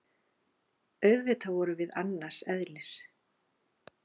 Auðvitað vorum við annars eðlis.